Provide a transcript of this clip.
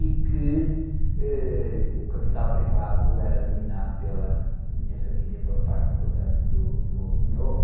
e que, êh, o capital privado era dominado pela minha família, pela parte, portanto, do, do, do meu avô.